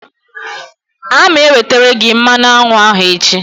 A ma ewetere gị mmanụ aṅụ ahụ echi.